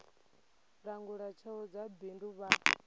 langula tsheo dza bindu vha